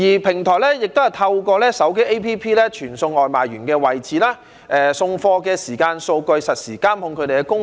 平台亦都透過手機 App 傳送外賣員的位置、送貨的時間數據等，實時監控他們的工作。